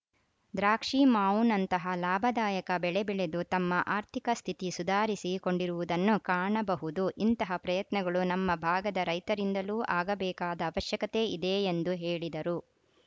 ದ್ರಾಕ್ಷಿ ಮಾವುನಂತಹ ಲಾಭದಾಯಕ ಬೆಳೆ ಬೆಳೆದು ತಮ್ಮ ಆರ್ಥಿಕ ಸ್ಥಿತಿ ಸುಧಾರಿಸಿ ಕೊಂಡಿರುವುದನ್ನು ಕಾಣಬಹುದು ಇಂತಹ ಪ್ರಯತ್ನಗಳು ನಮ್ಮ ಭಾಗದ ರೈತರಿಂದಲೂ ಆಗಬೇಕಾದ ಅವಶ್ಯಕತೆ ಇದೆ ಎಂದು ಹೇಳಿದರು